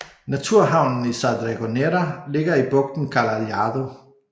Naturhavnen i Sa Dragonera ligger i bugten Cala Lladó